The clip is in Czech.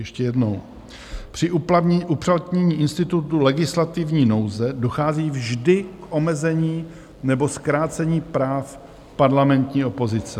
Ještě jednou: Při uplatnění institutu legislativní nouze dochází vždy k omezení nebo zkrácení práv parlamentní opozice.